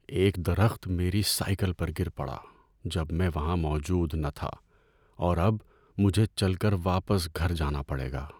ایک درخت میری سائیکل پر گر پڑا جب میں وہاں موجود نہ تھا، اور اب مجھے چل کر واپس گھر جانا پڑے گا۔